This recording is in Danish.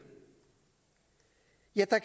ja der